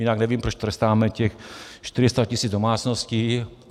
Jinak nevím, proč trestáme těch 400 tisíc domácností.